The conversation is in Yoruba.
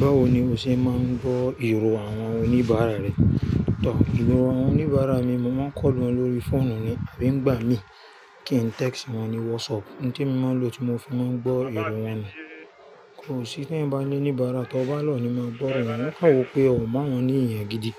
Báwo ni o ṣe máa ń gbọ́ èrò àwọn oníbàárà rẹ? Tọ̀, ju àwọn oníbàárà mi, mo máa ń call wọn lórí fóònù ni àbí ń gbà mí kí n tẹ́ẹ́xì wọn ní WhatsApp ni tí mo máa ń lo tí mo fi máa ń gbọ́ èrò wọn ni. Kò sí ti èèyàn bá ní oníbàárà tó bá lò ni máa gbọ́ ọ̀rọ̀ wọn, wọ́n kàn wọ́ pé o mu awọ́n ní eyàn gidi.